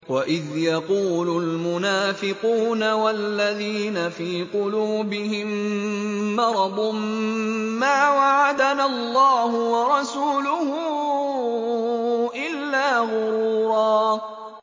وَإِذْ يَقُولُ الْمُنَافِقُونَ وَالَّذِينَ فِي قُلُوبِهِم مَّرَضٌ مَّا وَعَدَنَا اللَّهُ وَرَسُولُهُ إِلَّا غُرُورًا